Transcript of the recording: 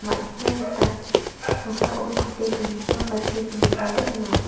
ma·sina gita noksao tape dongipa ba see dongipaba donga.